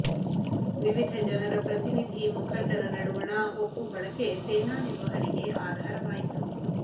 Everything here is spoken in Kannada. ವಿವಿಧ ಜನರ ಪ್ರತಿನಿಧಿ ಮುಖಂಡರ ನಡುವಣ ಹೊಕ್ಕು ಬಳಕೆ ಸೇನಾ ನಿರ್ವಹಣೆಗೆ ಆಧಾರವಾಯಿತು